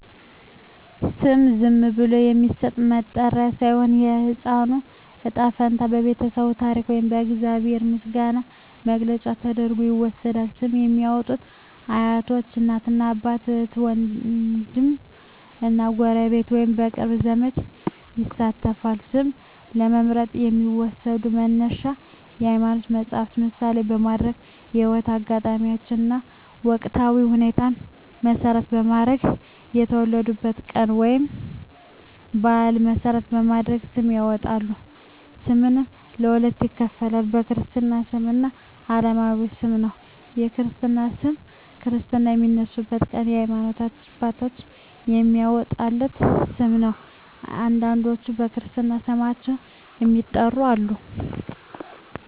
ስም ዝም ብሎ የሚሰጥ መጠሪያ ሳይሆን፣ የሕፃኑ ዕጣ ፈንታ፣ የቤተሰቡ ታሪክ ወይም የእግዚአብሔር ምስጋና መግለጫ ተደርጎ ይወሰዳል። ስም ለሚያዎጡት አያቶች፣ እናት አባት፣ እህት ዎንድም እና ጎረቤት ወይንም የቅርብ ዘመድ ይሳተፋል። ስም ለመምረጥ የሚዎሰዱ መነሻዎች የሀይማኖት መፀሀፍትን ምሳሌ በማድረግ፣ የህይወት አጋጣሚዎችን እና ወቅታዊ ሁኔታዎችን መሰረት በማድረግ፣ የወለዱበትን ቀን ወይንም በአል መሰረት በማድረግ ስም ያወጣሉ። ስምንም በሁለት ይከፈላል። የክርስትና ስም እና አለማዊ ስም ነው። የክርስትና ስም ክርስትና በሚነሳበት ቀን የሀይማኖት አባት የሚያዎጣለት ስም ነው። አንዳንዶች በክርስትና ስማቸው የሚጠሩም አሉ።